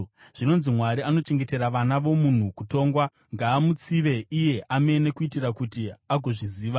Zvinonzi, ‘Mwari anochengetera vana vomunhu kutongwa.’ Ngaamutsive iye amene, kuitira kuti agozviziva!